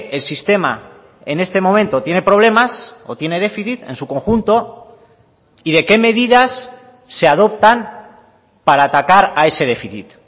el sistema en este momento tiene problemas o tiene déficit en su conjunto y de qué medidas se adoptan para atacar a ese déficit